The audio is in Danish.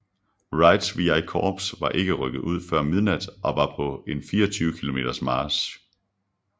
Wrights VI Korps var ikke rykket ud før midnat og var på en 24 km march